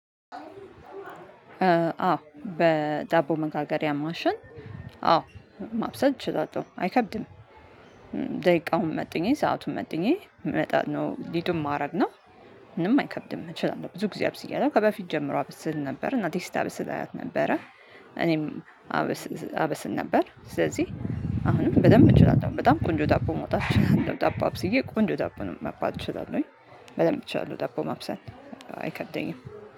አዎ በዳቦ መጋገሪያ ማሸን አዎ ማብሰል ችለለሁ አይከብድም። ደቂቃውን መጥኜ ሰአቱን መጥኜ መጣነው ሊዱን ማድረግ ነው። ምንም አይከብድም እችላለሁ። ብዙ ጊዜ አብሰያለው ከበፊት ጀምሮ አበስል ነበር። እናቴ ስታበስል አያት ነበረ። እኔም አበስል ነበር። ስለዚህ አሁንም በደንብ እችላው በጣም ቆንጆ ዳቦ መውጣት እችላለሁ። ዳቦ አብስዬ ቆንጆ ዳቦ እችላለሁኝ በደንብ እችላለሁ። ዳቦ ማብሰል። አይከደኝም